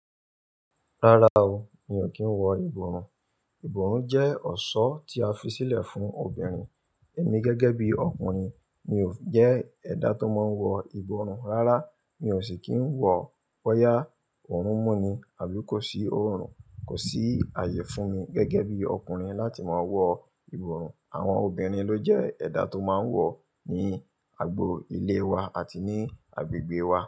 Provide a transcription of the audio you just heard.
Rárá o, mi ò kí ń wọ ìbọrùn. Ìbọrùn jẹ́ ọ̀ṣọ́ tí a fi sílẹ̀ fún obìnrin. Èmi gẹ́gẹ́ bí ọkùnrin, mi ò jẹ́ ẹ̀dá tó máa ń wọ ìbọrùn. Rárá, mi ò sì kí ń wọ boyá oorun n mu nì àbí kò sí oòrùn. Kò sí àyè fún mi gẹ́gẹ́ bí ọkùnrin láti máa wọ ìbọrùn. Àwọn obìnrin ló jẹ́ ẹ̀dá tó máa ń wọ ní agbo ilé wa àti ní agbègbè wa.